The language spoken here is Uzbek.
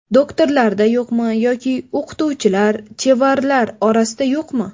Doktorlarda yo‘qmi yoki o‘qituvchilar, chevarlar orasida yo‘qmi?